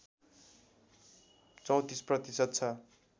३४ प्रतिशत छ